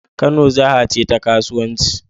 Kano jaha ce ta kasuwanci